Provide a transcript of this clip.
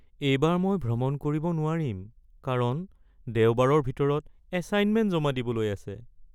এইবাৰ মই ভ্ৰমণ কৰিব নোৱাৰিম কাৰণ দেওবাৰৰ ভিতৰত এচাইনমেণ্ট জমা দিবলৈ আছে।